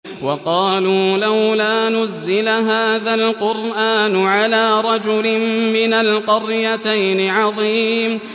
وَقَالُوا لَوْلَا نُزِّلَ هَٰذَا الْقُرْآنُ عَلَىٰ رَجُلٍ مِّنَ الْقَرْيَتَيْنِ عَظِيمٍ